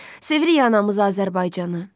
Sevirik anamız Azərbaycanı.